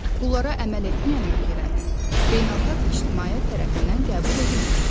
Bunlara əməl etməyən ölkələr beynəlxalq ictimaiyyət tərəfindən qəbul edilmir.